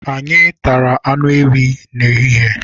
Anyị tara anụ ewii n'ehihie.